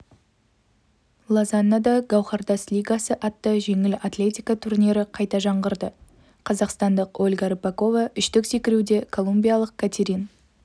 лозаннада гауһартас лигасы атты жеңіл атлетика турнирі қайта жаңғырды қазақстандық ольга рыпакова үштік секіруде колумбиялық катерин